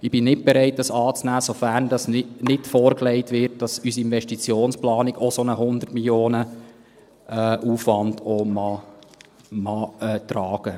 Ich bin nicht bereit, es anzunehmen, sofern uns nicht dargelegt wird, dass unsere Investitionsplanung auch einen solchen Hundert-Millionen-Aufwand tragen mag.